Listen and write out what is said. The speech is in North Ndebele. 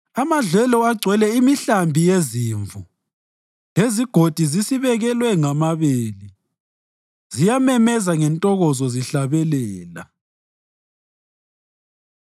Amadlelo agcwele imihlambi yezimvu lezigodi zisibekelwe ngamabele; ziyamemeza ngentokozo zihlabelela.